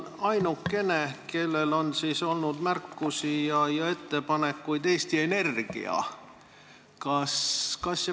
Ainukene, kellel on olnud märkusi ja ettepanekuid, on Eesti Energia.